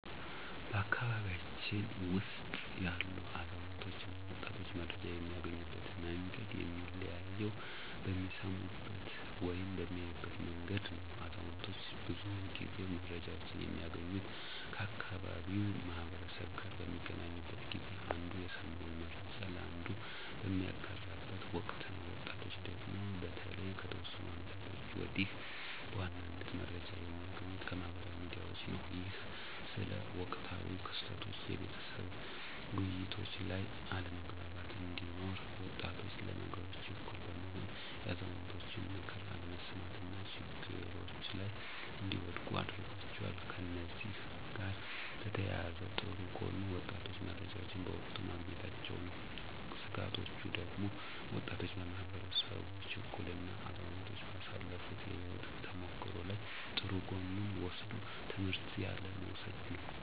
በቤተሰባችን ውስጥ ያሉ አዛውንቶች እና ወጣቶች መረጃን የሚያገኙበት መንገድ የሚለያየው በሚሰሙበት ወይም በሚያዩበት መንገድ ነው። አዛውንቶች ብዙውን ጊዜ መረጃወችን የሚያገኙት ከአካባቢው ማህበረሰብ ጋር በሚገናኙበት ጊዜ አንዱ የሰማውን መረጃ ለአንዱ በሚያጋራበት ወቅት ነው። ወጣቶቹ ደግሞ በተለይ ከተወሰኑ አመታቶች ወዲህ በዋናነት መረጃዎችን የሚያገኙት ከማህበራዊ ሚዲያዎች ነው። ይህም ስለ ወቅታዊ ክስተቶች የቤተሰብ ውይይቶች ላይ አለመግባባት እንዲኖር፤ ወጣቶች ለነገሮች ችኩል በመሆን የአዛውንቶችን ምክር አለመስማት እና ችግሮች ላይ እንዲወድቁ አድርጓቸዋል። ከእነዚህ ጋር በተያያዘ ጥሩ ጎኑ ወጣቶቹ መረጃዎችን በወቅቱ ማግኘታቸው ነው። ስጋቶቹ ደግሞ ወጣቱ ማህበረሰብ ችኩል እና አዛውንቶች ባሳለፋት የህይወት ተሞክሮ ላይ ጥሩ ጎኑን ወስዶ ትምህርት ያለ መውሰድ ነው።